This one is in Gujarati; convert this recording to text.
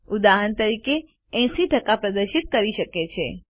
ઉદાહરણ તરીકે 80 ટકા પ્રદર્શિત કરી શકે છે